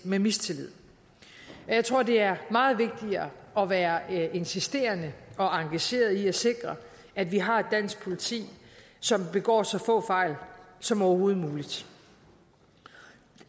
med mistillid og jeg tror det er meget vigtigere at være insisterende og engageret i at sikre at vi har et dansk politi som begår så få fejl som overhovedet muligt